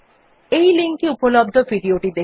এই লিঙ্ক এ উপলব্ধ ভিডিও টি দেখুন